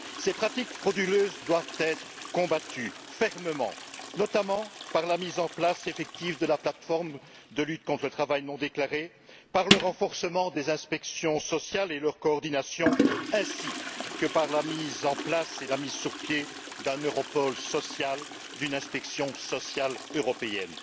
Ces pratiques frauduleuses doivent être combattues fermement, notamment par la mise en place effective de la plateforme de lutte contre le travail non déclaré, par le renforcement des inspections sociales et leur coordination, ainsi que par la mise en place et la mise sur pied d'un Europol social, d'une inspection sociale européenne.